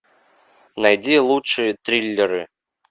найди лучшие триллеры